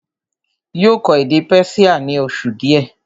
yóò kọ́ èdè Persia ní oṣù díẹ̀